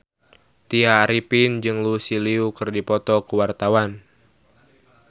Tya Arifin jeung Lucy Liu keur dipoto ku wartawan